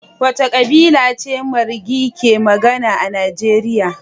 Wace kabila ce Marghi ke magana a Najeriya?